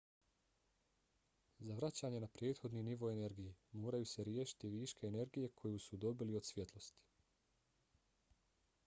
za vraćanje na prethodni nivo energije moraju se riješiti viška energije koju su dobili od svjetlosti